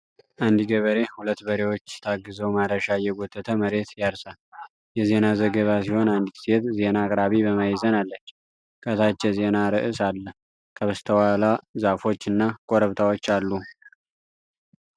አንድ ገበሬ ሁለት በሬዎች ታግዘው ማረሻ እየጎተተ መሬት ያርሳል። የዜና ዘገባ ሲሆን አንዲት ሴት ዜና አቅራቢ በማዕዘን አለች። ከታች የዜና ርዕስ አለ። ከበስተኋላ ዛፎች እና ኮረብታዎች አሉ።